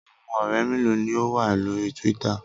Awọn ọrẹ melo ni o wa lori Twitter?